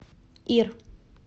ир